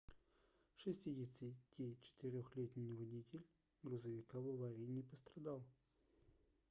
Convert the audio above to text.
64-летний водитель грузовика в аварии не пострадал